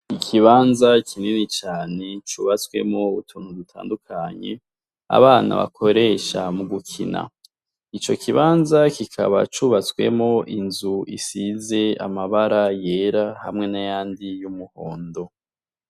Ikibanza kinini cane cubaswemwo utuntu dutandukanye abana bakoresha mu gukina. Ico kibanza kikaba cubatswemwo inzu isize amabara yera hamwe n’ayandi y’umuhondo.